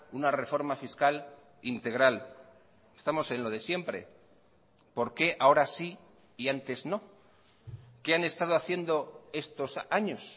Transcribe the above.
una reforma fiscal integral estamos en lo de siempre por quéahora sí y antes no qué han estado haciendo estos años